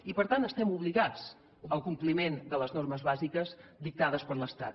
i per tant estem obligats al compliment de les normes bàsiques dictades per l’estat